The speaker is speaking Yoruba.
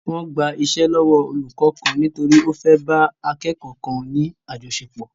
Wọ́n gba iṣẹ́ lọ́wọ́ olùkó kan nítorí ó fé bá akẹ́ẹ́kọ̀ kan ní àjọṣepọ̀.